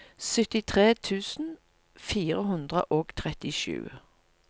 syttitre tusen fire hundre og trettisju